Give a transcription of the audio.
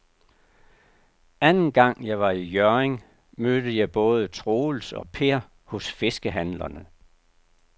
Anden gang jeg var i Hjørring, mødte jeg både Troels og Per hos fiskehandlerne.